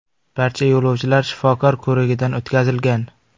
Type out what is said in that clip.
Barcha yo‘lovchilar shifokor ko‘rigidan o‘tkazilgan.